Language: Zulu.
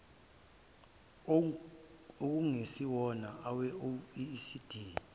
okungesiwona awe oecd